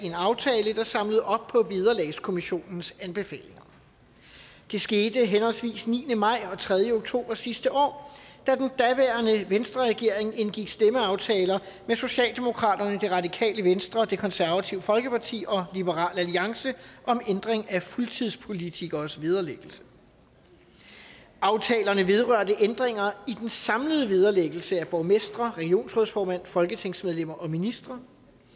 en aftale der samlede op på vederlagskommissionens anbefalinger det skete henholdsvis den niende maj og den tredje oktober sidste år da den daværende venstreregering indgik stemmeaftaler med socialdemokraterne det radikale venstre og det konservative folkeparti og liberal alliance om ændring af fuldtidspolitikeres vederlæggelse aftalerne vedrørte ændringer i den samlede vederlæggelse af borgmestre regionsrådsformænd folketingsmedlemmer og ministre